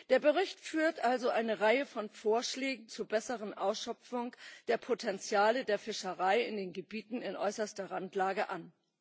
Der Bericht führt also eine Reihe von Vorschläge zur besseren Ausschöpfung der Potenziale der Fischerei in den Gebieten in äußerster Randlage an.